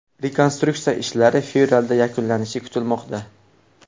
Rekonstruksiya ishlari fevralda yakunlanishi kutilmoqda.